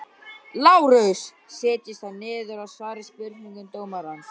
LÁRUS: Setjist þá niður og svarið spurningum dómarans.